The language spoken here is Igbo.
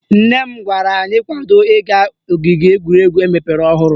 Nne m gwara anyị kwado ịga ogige egwuregwu emepere ọhụrụ